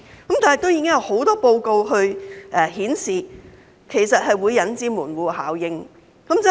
不過，已經有很多報告顯示，這其實是會引致"門戶效應"的。